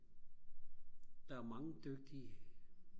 der er mange dygtige